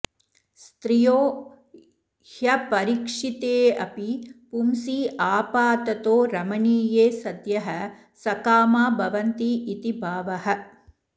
स्त्रियो ह्यपरीक्षितेपि पुंसि आपाततो रमणीये सद्यः सकामा भवन्तीति भावः